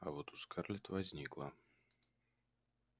а вот у скарлетт возникло